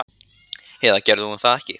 Eða gerði hún það ekki?